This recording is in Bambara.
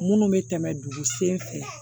Minnu bɛ tɛmɛ dugu sen fɛ